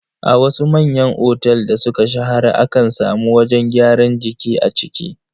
A wasu manyan otel da suka shahara akan samu wajen gyaran jiki a ciki.